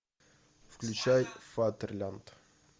включай фатерлянд